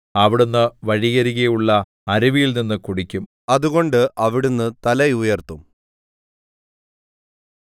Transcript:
അവിടുന്ന് വഴിയരികിലുള്ള അരുവിയിൽനിന്നു കുടിക്കും അതുകൊണ്ട് അവിടുന്ന് തല ഉയർത്തും